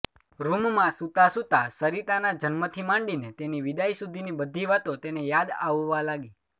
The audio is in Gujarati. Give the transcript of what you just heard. રૂમમાં સુતાંસુતાં સરિતાના જન્મથી માંડી ને તેની વિદાય સુધીની બધી વાતો તેને યાદ આવવા લાગી